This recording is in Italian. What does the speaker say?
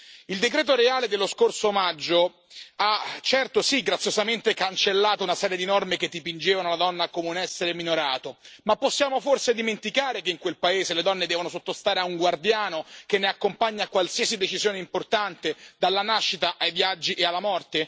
Il decreto reale dello scorso maggio ha certo, sì, graziosamente cancellato una serie di norme che dipingevano la donna come un essere minorato, ma possiamo forse dimenticare che in quel paese le donne devono sottostare a un guardiano che ne accompagna qualsiasi decisione importante, dalla nascita, ai viaggi, alla morte?